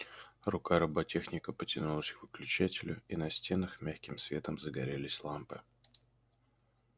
рука роботехника потянулась к выключателю и на стенах мягким светом загорелись лампы